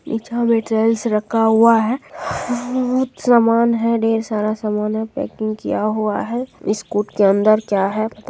नीचा में टाइल्स रखा हुआ है बहुत समान है ढेर सारा समान है पैकिंग किया हुआ है बिस्कुट के अंदर क्या है पता न --